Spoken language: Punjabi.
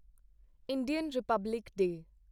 Indian Republic day